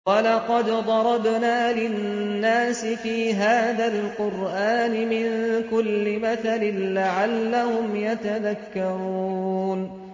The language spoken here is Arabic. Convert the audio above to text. وَلَقَدْ ضَرَبْنَا لِلنَّاسِ فِي هَٰذَا الْقُرْآنِ مِن كُلِّ مَثَلٍ لَّعَلَّهُمْ يَتَذَكَّرُونَ